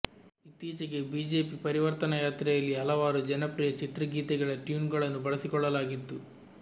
ಇತ್ತೀಚೆಗೆ ಬಿಜೆಪಿ ಪರಿವರ್ತನಾ ಯಾತ್ರೆಯಲ್ಲಿ ಹಲವಾರು ಜನಪ್ರಿಯ ಚಿತ್ರಗೀತೆಗಳ ಟ್ಯೂನ್ಗಳನ್ನು ಬಳಸಿಕೊಳ್ಳಲಾಗಿತ್ತು